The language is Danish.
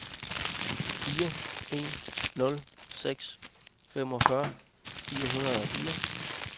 fire en nul seks femogfyrre fire hundrede og fire